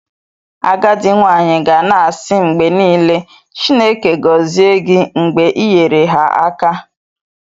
Agadi nwanyi ga na-asi mgbe nile "Chineke gozie gi" mgbe i nyere ha aka "